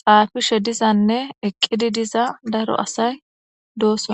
xafishe dizanne eqidi diza dora asay dosona.